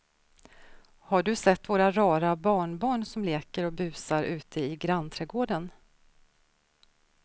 Har du sett våra rara barnbarn som leker och busar ute i grannträdgården!